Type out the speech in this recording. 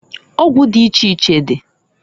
Ọgwụ di iche iche di.